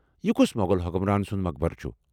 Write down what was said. یہ کس مۄغل حُکُمران سُند مقبرٕ چُھ؟